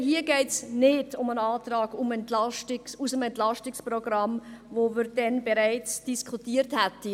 Hier geht es nicht um einen Antrag aus dem EP, den wir damals bereits diskutiert hatten.